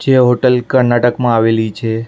જે હોટલ કર્ણાટકમાં આવેલી છે.